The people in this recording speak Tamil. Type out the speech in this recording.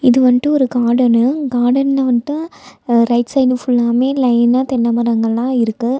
இது வண்டு ஒரு காடனு காடன்ல வண்டு அ ரைட் சைடு ஃபுல்லாவுமே லைனா தென்ன மரங்கள்லா இருக்கு.